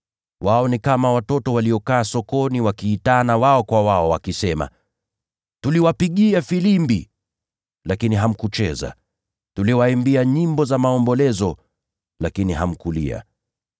Wao ni kama watoto waliokaa sokoni wakiitana wao kwa wao, wakisema: “ ‘Tuliwapigia filimbi, lakini hamkucheza; tuliwaimbia nyimbo za maombolezo, lakini hamkulia.’